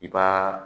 I b'aa